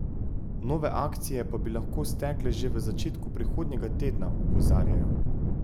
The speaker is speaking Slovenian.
Nove akcije pa bi lahko stekle že v začetku prihodnjega tedna, opozarjajo.